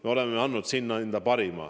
Me oleme andnud endast parima.